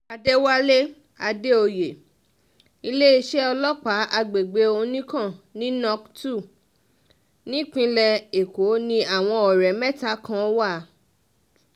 àdẹ̀wálé àdèoyè iléeṣẹ́ ọlọ́pàá àgbègbè oníkàn ní nókè 2 ìpínlẹ̀ èkó ni àwọn ọ̀rẹ́ mẹ́ta kan wà